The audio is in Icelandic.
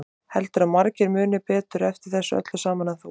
Heldurðu að margir muni betur eftir þessu öllu saman en þú?